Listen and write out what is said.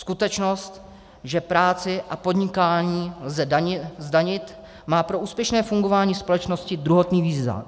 Skutečnost, že práci a podnikání lze zdanit, má pro úspěšné fungování společnosti druhotný význam.